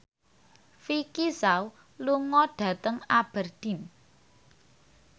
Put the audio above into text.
Vicki Zao lunga dhateng Aberdeen